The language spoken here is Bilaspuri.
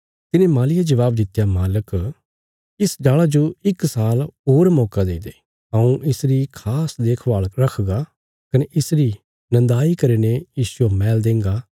तिने मालीये जबाब दित्या मालक इस डाल़ा जो इक साल होर मौका देई दे हऊँ इसरी खास देखभाल रखगा कने इसरी नन्दाई करीने इसजो मैल देंगा